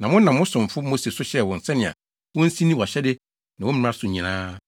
Na wonam wo somfo Mose so hyɛɛ wɔn sɛnea wonsi nni wʼahyɛde ne wo mmara no nyinaa so.